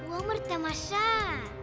өмір тамаша